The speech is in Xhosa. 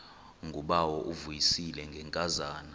ngubawo uvuyisile ngenkazana